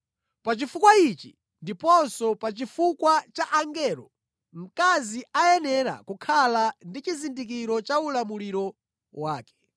Pa chifukwa ichi, ndiponso pa chifukwa cha angelo, mkazi akuyenera kukhala ndi chizindikiro cha ulamuliro wake.